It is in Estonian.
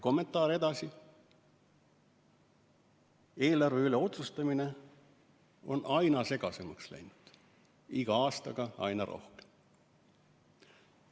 " Kommentaar läheb edasi nii, et eelarve üle otsustamine on aina segasemaks läinud, iga aastaga aina rohkem.